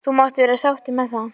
. þú mátt vera sáttur með það.